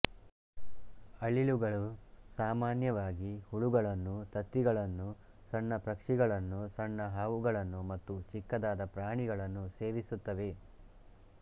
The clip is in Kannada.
ಅಳಿಲುಗಳು ಸಾಮಾನ್ಯವಾಗಿ ಹುಳುಗಳನ್ನೂ ತತ್ತಿಗಳನ್ನು ಸಣ್ಣ ಪಕ್ಷಿಗಳನ್ನೂ ಸಣ್ಣ ಹಾವುಗಳನ್ನೂ ಮತ್ತು ಚಿಕ್ಕದಾದ ಪ್ರಾಣಿಗಳನ್ನು ಸೇವಿಸುತ್ತವೆ